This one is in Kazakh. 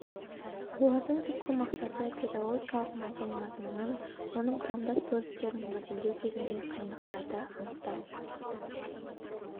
олардың түпкі мақсаты педагогикалық модель мазмұнын оның құрамдас бөліктерін модельдеу кезіндегі қиындықтарды анықтау